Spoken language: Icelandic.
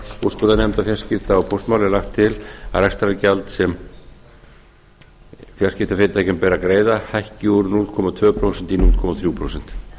úrskurðarnefndar fjarskipta og póstmála er lagt til að rekstrargjald sem fjarskiptafyrirtækjum ber að greiða hækki úr núll komma tvö prósent í núll komma þrjú prósent